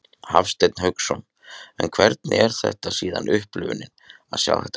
Hafsteinn Hauksson: En hvernig er síðan upplifunin að sjá þetta gerast?